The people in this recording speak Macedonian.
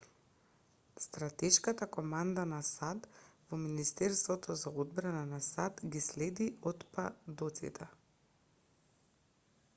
стратешката команда на сад во министерството за одбрана на сад ги следи отпадоците